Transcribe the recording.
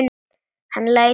Síðan leit hann á hópinn.